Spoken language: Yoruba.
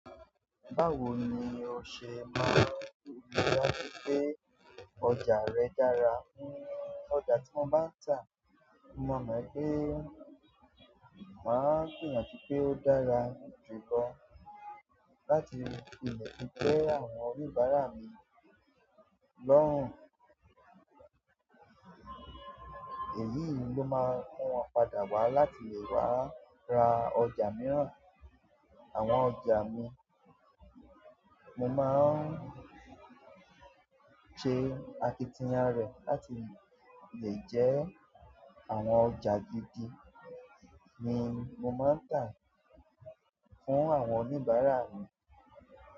Báwo ni o ṣe maa n ri dájú pé ọjà rẹ dára? Ọjà tí mo bá ń tà, mo maa mo wipé máa gbìyànjú pé ó dára ju lo láti lè fi tẹ́ àwọn oníbàárà mi lọ́hùn. Èyí ló máa ń mu wọn padà wá láti lè wá ra ọjà mìíràn. Àwọn ọjà mi, mo máa ń ṣe akitiyan rẹ̀ láti le, lè jẹ́ àwọn ọjà gídì ní mo máa ń tà fún àwọn oníbàárà mi.